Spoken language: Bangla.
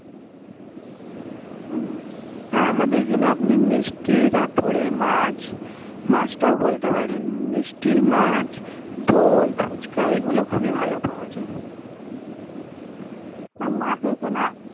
হেঁ আপনা দের আখ্যানে আপনি তার পরে মাছ মাছ তও বলতে পারেন মিষ্টি মাছ দোহাই ফুচকা এই গুলু খুব ভালো পৰা যায় না মাছ এখানে